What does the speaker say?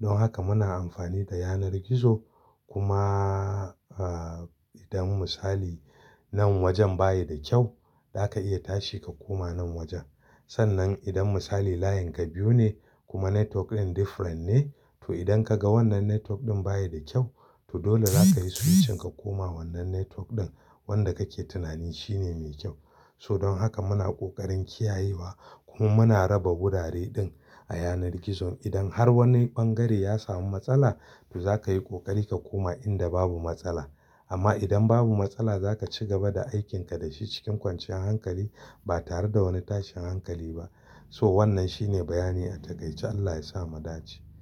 Don haka muna amfani da yanar gizo kuma, eh, idan misali nan wajen baya da kyau, zaka iya tashi ka koma wani waje. Sannan idan misali layin ka biyu ne kuma network din different ne, to idan ka ga wannan network ɗin baya da kyau, to dole zaka yi switching ka koma wannan network ɗin wanda kake tunanin shine mai kyau. So don haka muna ƙoƙarin kiyayewa kuma muna raba wurare din a yanar gizon. Idan har wani ɓangare ya samu matsala, to za ka yi ƙoƙari ka koma inda babu matsala. Amma idan babu matsala za ka ci gaba da aikinka da shi cikin kwanciyar hankali ba tare da wani tashin hankali ba. So wannan shine bayani a takaice Allah ya sa mu dace.